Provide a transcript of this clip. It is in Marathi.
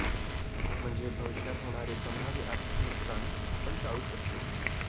म्हणजे भविष्यात होणारे संभाव्य आर्थिक नुकसान आपण टाळू शकतो